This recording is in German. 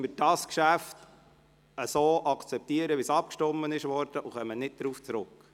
Somit akzeptieren wir das Geschäft so, wie darüber abgestimmt wurde, und kommen nicht darauf zurück.